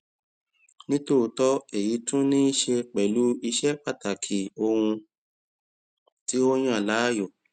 nítòótọ èyí sì tún níí ṣe pẹlú ìṣe pàtàkì ohun tí o yàn láàyò